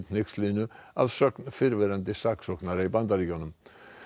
hneykslinu að sögn fyrrverandi saksóknara í Bandaríkjunum